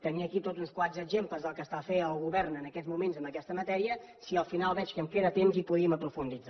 tenia aquí tots uns quants exemples del que està fent el govern en aquests moments en aquesta matèria si al final veig que em queda temps hi podríem aprofundir